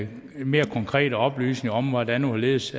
mere konkrete oplysninger om hvordan og hvorledes